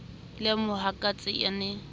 le ha mohatsaka a ne